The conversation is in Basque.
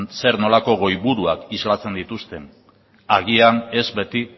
zer nolako goiburuak islatzen dituzten agian ez beti